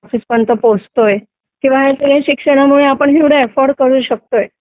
कुठपर्यंत पोचतो किंवा हे जे शिक्षणामुळे आपण एवढं फोर्ट करतोय